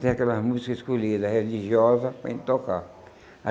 Tem aquelas músicas escolhidas, religiosas, para a gente tocar.